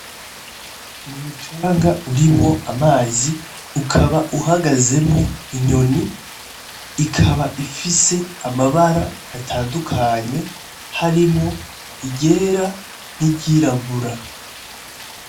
Mumucanga urimwo amazi ukaba uhagazemwo inyoni ikaba ifise amabara atandukanye harimwo iryera n,iryirabura.